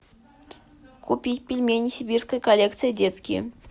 купить пельмени сибирская коллекция детские